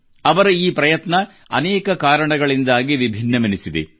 ಅವರ ಈ ಪ್ರಯತ್ನ ಅನೇಕ ಕಾರಣಗಳಿಂದಾಗಿ ವಿಭಿನ್ನವೆನಿಸಿದೆ